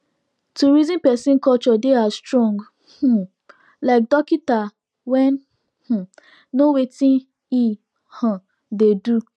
to reason persin culture dey as strong um like dorkita wen um know wetin e um dey do